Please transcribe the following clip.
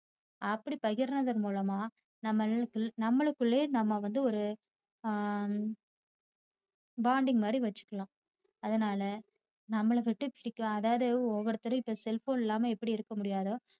அப்படி பகிரத்தின் மூலமா நாமளுக்குளே நாமளுக்குளே நம்ம ஒரு bonding மாரி வச்சுக்கலாம் அதனால நம்மள விட்டு பிரிக்காத அதாவது இப்போ ஓவருத்தரும் cell phone இல்லாம எப்படி இருக்க முடியாதோ